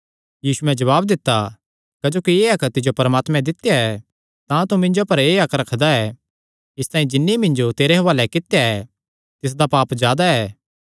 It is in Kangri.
यीशुयैं जवाब दित्ता क्जोकि एह़ हक्क तिज्जो परमात्मे दित्या ऐ तां तूं मिन्जो पर एह़ हक्क रखदा ऐ इसतांई जिन्नी मिन्जो तेरे हुआलैं कित्या ऐ तिसदा पाप जादा ऐ